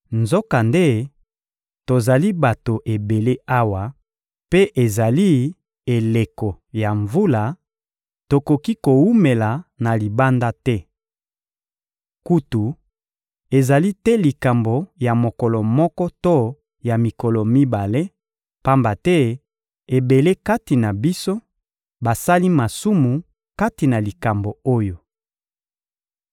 Nzokande tozali bato ebele awa, mpe ezali eleko ya mvula; tokoki kowumela na libanda te. Kutu, ezali te likambo ya mokolo moko to ya mikolo mibale, pamba te ebele kati na biso basali masumu kati na likambo oyo.